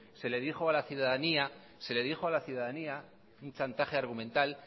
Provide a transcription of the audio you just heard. se le dijo a la ciudadanía un chantaje argumental